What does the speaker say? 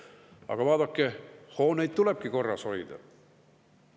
Aga vaadake, hooneid tulebki korras hoida.